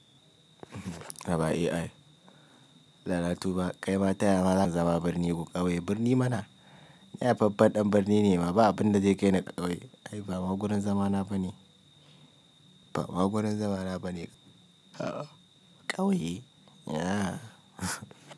Haba AI. Allah na tuba, kai ba taya mazan zama birni ko ƙauye. Birni mana? Ni haifaffen ɗan birni ne, ma ba abin da zai kai ni ƙauye. Ai ba maguran zamana ba ne. Ba ma guran zamana ba ne. Ƙauye?